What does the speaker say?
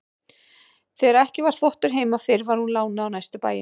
Þegar ekki var þvottur heima fyrir var hún lánuð á næstu bæi.